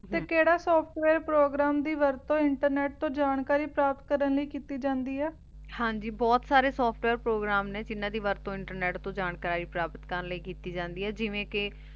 ਤੇ ਕੇਰਾ software program program ਦੀ ਵਰਤੁ ਇੰਟਨੇਟ ਤੋਂ ਜਾਣਕਾਰੀ ਪ੍ਰਾਪਤ ਕਰਨ ਲੈ ਕੀਤੀ ਜਾਂਦੀ ਆਯ ਹਾਂਜੀ ਬੋਹਤ ਸਾਰੇ software program ਨਾਯ੍ਜਿਨਾਂ ਦੀ ਵਰਤੁ ਇੰਟਰਨੇਟ ਤੋਂ ਜਾਣਕਾਰੀ ਪ੍ਰਾਪਤ ਕਰਨ ਲੈ ਕੀਤੀ ਜਾਂਦੀ ਆਯ ਜਿਵੇਂ ਕੇ